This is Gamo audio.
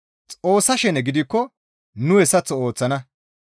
Xoossa shene gidikko nu hessaththo ooththana.